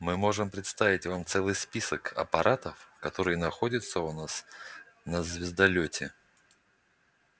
мы можем представить вам целый список аппаратов которые находятся у нас на звездолёте